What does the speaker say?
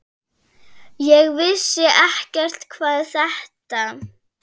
Ég vissi ekkert hvað þetta